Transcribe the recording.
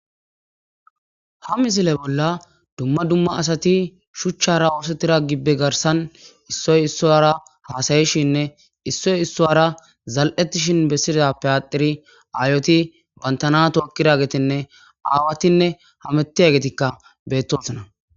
ha misile bolla dumma dumma asati shuchchara oosettira gibbe garsan issoy issoyra haasayishinne issoy issoyara zal7ettishin bessida payaxiri aayoti bantana tookkiragetenne aawatinne hamettiya getikka bettosana